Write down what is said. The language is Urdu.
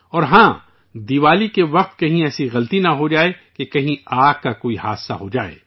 اور ہاں، دیوالی کے وقت کہیں ایسی غلطی نہ ہو جائے کہ کہیں آگ لگنے کا کوئی واقعہ ہو جائے